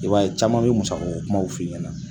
I b'a ye caman bɛ musa kumaw f'i ɲɛna.